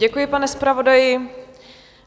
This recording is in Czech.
Děkuji, pane zpravodaji.